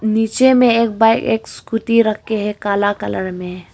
नीचे में एक बाइक एक स्कूटी रक्खे हैं काला कलर में।